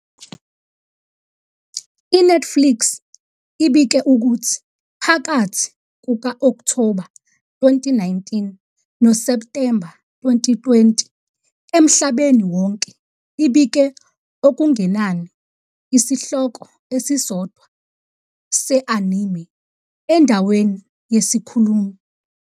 INetflix ibike ukuthi, phakathi kuka-Okthoba 2019 noSepthemba 2020, emhlabeni wonke ibike okungenani isihloko esisodwa se-anime endaweni yesikhulumi.